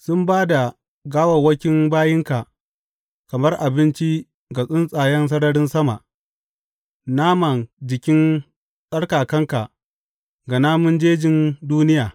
Sun ba da gawawwakin bayinka kamar abinci ga tsuntsayen sararin sama, nama jikin tsarkakanka ga namun jejin duniya.